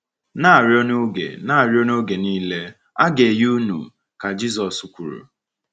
“Na -arịọ n’oge “Na -arịọ n’oge niile, a ga -enye unu,” ka Jizọs kwuru.